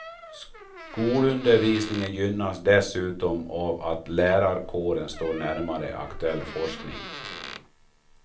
Skolundervisningen gynnas dessutom av att lärarkåren står närmare aktuell forskning.